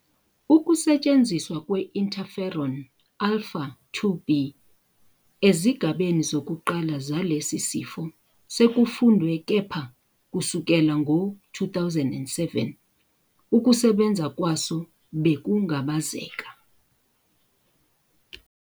Ukusetshenziswa kwe- Interferon-alpha-2b ezigabeni zokuqala zalesi sifo sekufundwe kepha kusukela ngo-2007 ukusebenza kwaso bekungabazeka.